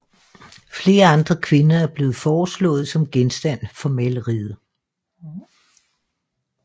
Flere andre kvinder er blevet foreslået som genstand for maleriet